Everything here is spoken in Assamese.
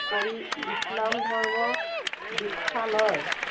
পৰি ইছলাম ধৰ্ম দিক্ষা লয়।